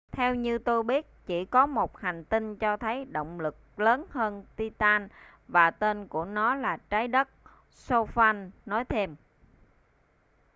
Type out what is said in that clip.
theo như tôi biết chỉ có một hành tinh cho thấy động lực lớn hơn titan và tên của nó là trái đất stofan nói thêm